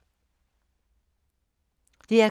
DR K